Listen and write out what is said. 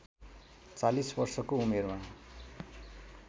४० वर्षको उमेरमा